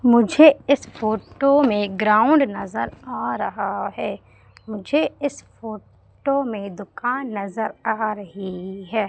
मुझे इस फोटो में ग्राउंड नजर आ रहा है मुझे इस फोटो में दुकान नजर आ रही है।